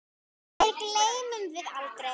Þér gleymum við aldrei.